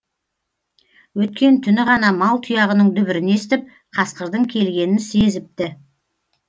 өткен түні ғана мал тұяғының дүбірін естіп қасқырдың келгенін сезіпті